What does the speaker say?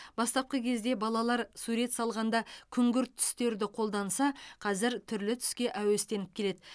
бастапқы кезде балалар сурет салғанда күңгірт түстерді қолданса қазір түрлі түске әуестеніп келеді